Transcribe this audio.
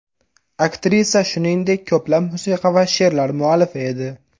Aktrisa, shuningdek, ko‘plab musiqa va she’rlar muallifi edi.